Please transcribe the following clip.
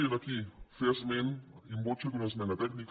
i aquí fer esment in voce d’una esmena tècnica